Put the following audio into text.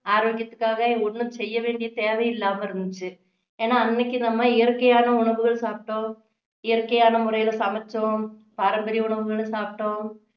ஆரோக்கியத்துக்காக ஒண்ணும் செய்ய வேண்டிய தேவை இல்லாம இருந்துச்சு ஏன்னா அன்னைக்கு நம்ம இயற்கையான உணவுகள் சாப்பிட்டோம் இயற்கையான முறையில சமைச்சோம் பாரம்பரிய உணவுகளை சாப்பிட்டோம்